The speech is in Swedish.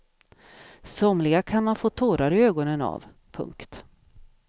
Somliga kan man få tårar i ögonen av. punkt